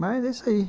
Mas, é isso aí.